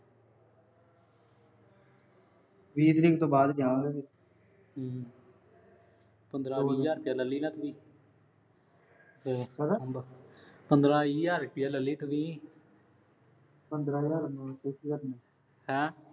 ਬੀਹ ਤਾਰੀਖ ਤੋਂ ਬਾਅਦ ਜਾਵਾਂਗੇ। ਹਮ ਪੰਦਰਾਂ-ਵੀਹ ਹਜ਼ਾਰ ਰੁਪਇਆ ਰੱਖ ਲੀਂ, ਕਿਵੇਂ, ਪੰਦਰਾਂ-ਵੀਹ ਹਜ਼ਾਰ ਰੁਪਇਆ ਲੈ ਲਈ ਤੂੰ ਵੀ। ਪੰਦਰਾਂ ਹਜ਼ਾਰ